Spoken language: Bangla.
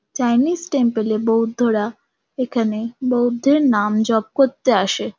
চাইনিজ টেম্পল -এ বৌদ্ধরা এখানে বৌদ্ধের নাম জপ করতে আসে।